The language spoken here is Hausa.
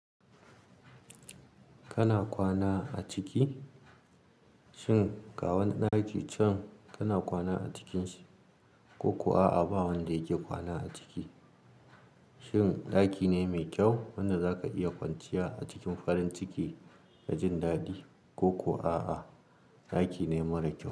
Kana kwana a ciki? Shin ga wani ɗaki can kana kwana a cikinsa ko kuwa a'a ba wanda yake kwana a ciki? Shin ɗaki ne mai kyau wanda zaka iya kwanciya a cikin farin ciki da jin daɗi ko kuwa a'a ɗaki ne mara kyau?